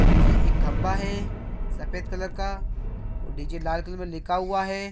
D_ जे एक खम्भा है सफेद कलर का और डी_जे लाल कलर में लिखा हुआ है ।